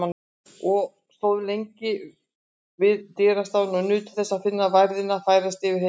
Og stóðum lengi við dyrastafinn og nutum þess að finna værðina færast yfir heimilið.